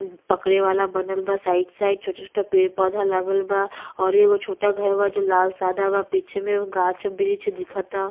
पकड़े वाला बनल बा। साइड साइड छोटा-छोटा पेड़ पौधा लागल बा। औरु एगो छोटा घर बा जो लाल सादा बा। पीछे में गाच्छ वृक्ष दिखता।